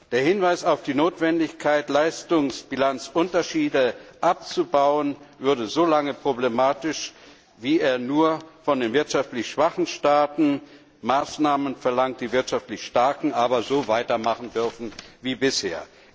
Der Hinweis auf die Notwendigkeit, Leistungsbilanzunterschiede abzubauen, ist so lange problematisch, wie er nur von den wirtschaftlich schwachen Staaten Maßnahmen verlangt, die wirtschaftlich starken aber so weitermachen dürfen wie bisher.